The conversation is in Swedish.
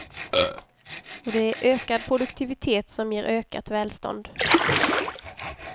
Och det är ökad produktivitet som ger ökat välstånd.